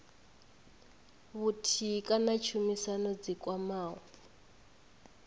vhuthihi kana tshumisano dzi kwamaho